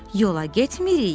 Yola getmirik.